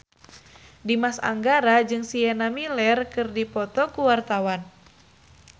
Dimas Anggara jeung Sienna Miller keur dipoto ku wartawan